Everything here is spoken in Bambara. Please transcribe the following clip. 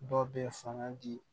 Dɔ bɛ fanga di